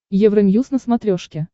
евроньюз на смотрешке